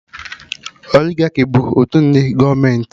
Oligaki bụ otu ụdị gọọmenti